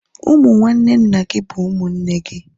Ụmụ nwanne nna gị bụ ụmụnne gị